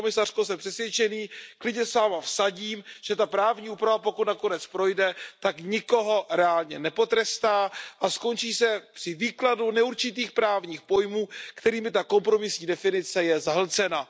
Paní komisařko, jsem přesvědčený, klidně se s Vámi vsadím, že ta právní úprava, pokud nakonec projde, tak nikoho reálně nepotrestá a skončí se při výkladu neurčitých právních pojmů, kterými je ta kompromisní definice zahlcena.